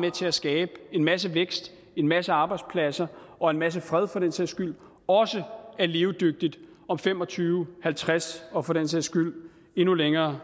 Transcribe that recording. med til at skabe en masse vækst en masse arbejdspladser og en masse fred for den sags skyld også er levedygtigt om fem og tyve og halvtreds og for den sags skyld endnu længere